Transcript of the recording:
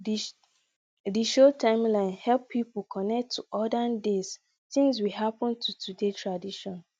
di show timeline help people connect to olden days things we happen to today tradition